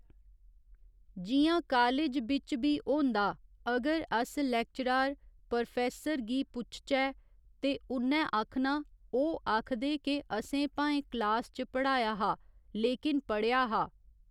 जि'यां कालेज बिच्च बी होंदा अगर अस लेक्चरार पर्रोफेसर गी पुच्छचै ते उ'न्नै आखना ओह् आखदे के असें भाऐं क्लास च पढ़ाया हा लेकिन पढ़ेआ हा